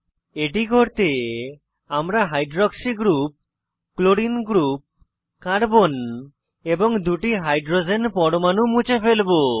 এটি করতে আমরা hydroxy group chlorine group carbon এবং দুটি হাইড্রোজেন পরমাণু মুছে ফেলবো